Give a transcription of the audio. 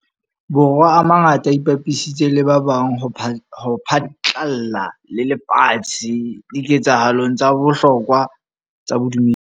Bo rwa a mangata a ipapisitse le ba bang ho phatlalla le lefatshe dike tsahalong tsa bohlokwa tsa bodumedi.